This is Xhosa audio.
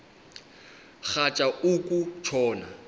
rhatya uku tshona